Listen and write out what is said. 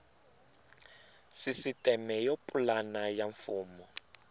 sisiteme yo pulana ya mfumo